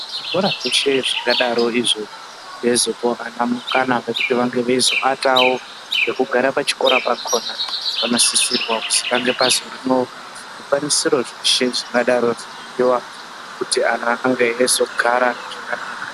Zvikora zveshe zvakadaro izvo zveizopawo ana mukana wekuti ange eizowatawo nekugara pachikora pakhona, panososisirwe kuti pazoiswe zvikwanisiro zveshe zvingadei zveidiwa kuti ana ange eizogara zvakanaka.